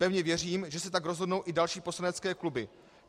Pevně věřím, že se tak rozhodnou i další poslanecké kluby.